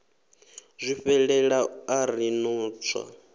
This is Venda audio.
zwifhelela a ri no tswa